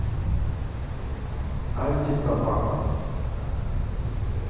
анти тобакко